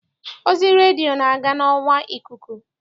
Ozi redio na-aga n'ọwa ikuku.